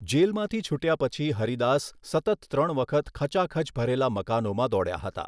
જેલમાંથી છૂટ્યા પછી હરિદાસ સતત ત્રણ વખત ખચાખચ ભરેલા મકાનોમાં દોડ્યા હતા.